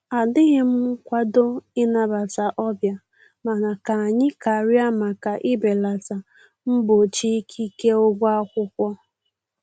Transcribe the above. Adịghịm nkwado ị nabata ọbịa mana ka anyị karịa maka ibelata mgbochi ikike ụgwọ akwụkwọ